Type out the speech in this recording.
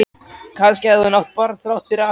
Kannski hafði hún átt barn þrátt fyrir allt.